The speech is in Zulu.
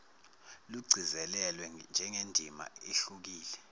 lugcizelelwa njengendima ehlukile